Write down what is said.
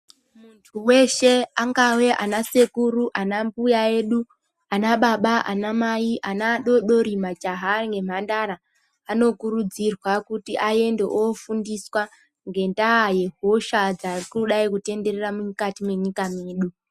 Weshe agave anasekuru anambuya edu, anababa anamai, ana adoodori majaha nemhandara anokurudzirwa kuti aende ofundiswa ngendaa yehosha dzakadai kutenderera munyika mwedu.